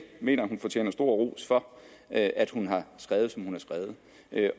mener hun fortjener stor ros for at at hun har skrevet som hun har skrevet